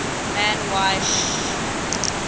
man y sh